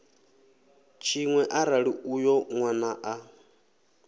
tshiṅwe arali uyo nwana a